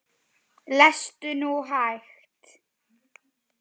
Lestu nú hægt!